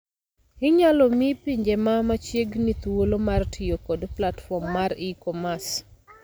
Inyalo mii pinje ma machiegni thuolo mar tiyo kod platform mar e-commerce.